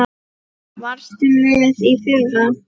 Varstu með í fyrra?